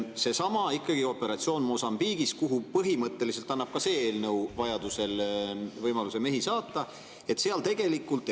Seesama operatsioon Mosambiigis – tegelikult annab ka see eelnõu põhimõtteliselt võimaluse vajaduse korral mehi sinna saata.